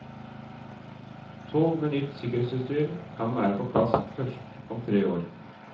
Tog med nytt sikkerhetsutstyr kan være på plass først om tre år.